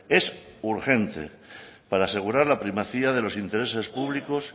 es urgente para asegurar la primacía de los intereses públicos